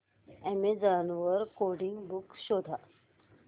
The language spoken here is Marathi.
अॅमेझॉन वर कोडिंग बुक्स शोधा